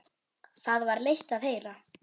Það var leitt að heyra.